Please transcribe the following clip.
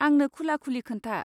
आंनो खुला खुलि खोन्था।